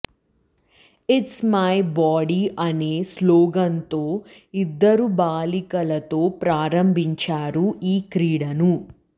it's my body అనే స్లోగన్తో ఇద్దరు బాలిక లతో ప్రారంభించారు ఈ క్రీడను